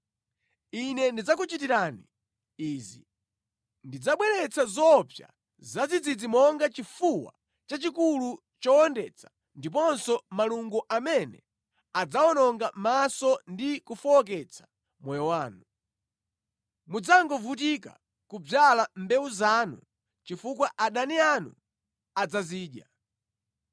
Ine ndidzakuchitirani izi: ndidzabweretsa zoopsa zadzidzidzi monga chifuwa chachikulu chowondetsa ndiponso malungo amene adzawononga maso ndi kufowoketsa moyo wanu. Mudzangovutika kudzala mbewu zanu chifukwa adani anu adzazidya.